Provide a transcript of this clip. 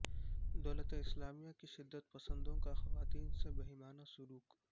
دولت اسلامیہ کے شدت پسندوں کا خواتین سے بہیمانہ سلوک